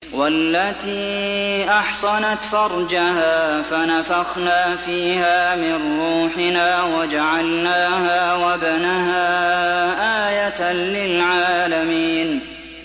وَالَّتِي أَحْصَنَتْ فَرْجَهَا فَنَفَخْنَا فِيهَا مِن رُّوحِنَا وَجَعَلْنَاهَا وَابْنَهَا آيَةً لِّلْعَالَمِينَ